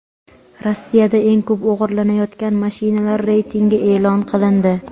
Rossiyada eng ko‘p o‘g‘irlanayotgan mashinalar reytingi e’lon qilindi.